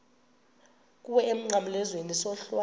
kuwe emnqamlezweni isohlwayo